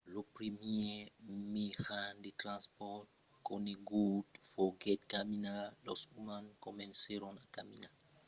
lo primièr mejan de transpòrt conegut foguèt caminar los umans comencèron a caminar en posicion verticala fa dos milions d’annadas tre l’aparicion de l’homo erectus que significa òme quilhat